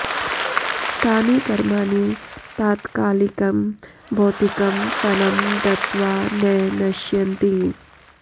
तानि कर्माणि तात्कालिकं भौतिकं फलं दत्त्वा न नश्यन्ति